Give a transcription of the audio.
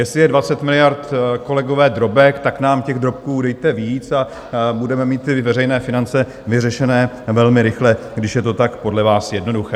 Jestli je 20 miliard, kolegové, drobek, tak nám těch drobků dejte víc a budeme mít ty veřejné finance vyřešené velmi rychle, když je to tak podle vás jednoduché.